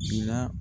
Ji la